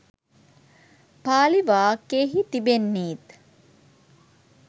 පාලි වාක්‍යයෙහි තිබෙන්නේත්